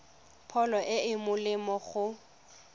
pholo e e molemo go